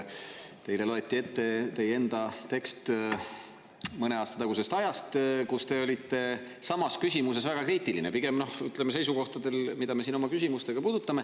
Teile loeti ette teie enda tekst mõne aasta tagusest ajast, kui te olite samas küsimuses väga kriitiline, pigem seisukohtadel, mida me siin oma küsimustes puudutame.